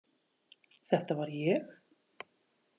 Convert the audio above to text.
Þetta var ég.